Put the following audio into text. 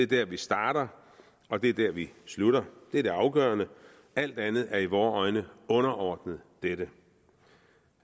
der vi starter og det er der vi slutter det er det afgørende alt andet er i vore øjne underordnet dette